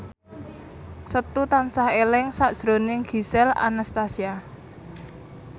Setu tansah eling sakjroning Gisel Anastasia